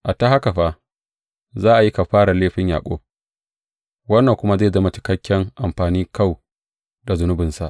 A ta haka fa, za a yi kafarar laifin Yaƙub, wannan kuma zai zama cikakken amfanin kau da zunubinsa.